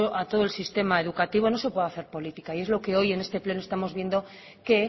a todo el sistema educativo no se puede hacer política y es lo que hoy en este pleno estamos viendo que